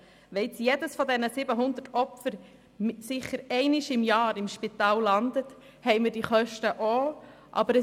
Wenn nun jedes der 700 Opfer sicher einmal pro Jahr im Spital landet, haben wir diese Kosten ebenfalls.